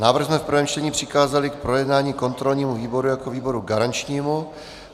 Návrh jsme v prvém čtení přikázali k projednání kontrolnímu výboru jako výboru garančnímu.